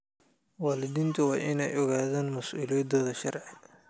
Waalidiintu waa inay ogaadaan mas'uuliyadahooda sharci.